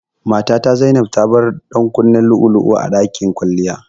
Matata Zainab tabar ɗankunnen lu'ulu'u a ɗakin kwalliya.